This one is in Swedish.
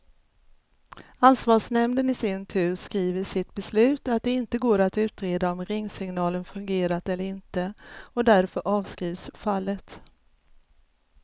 Ansvarsnämnden i sin tur skriver i sitt beslut att det inte går att utreda om ringsignalen fungerat eller inte, och därför avskrivs fallet.